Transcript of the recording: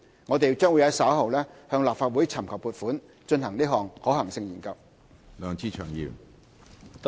我們將於稍後向立法會尋求撥款，以進行可行性研究。